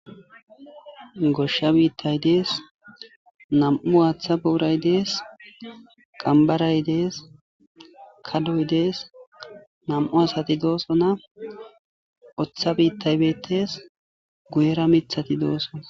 goshsha biittay dees, nam'u waaththa booray dees, qambaray dees, kadoy dees nam'u asati dooso na oththa biittay bettes guyera mithati doosona